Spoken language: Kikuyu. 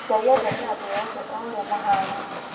Ngai endete andũ oothe o,ũrĩa mahana